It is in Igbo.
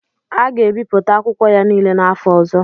A ga-ebipụta akwụkwọ ya niile n'afọ ọzọ.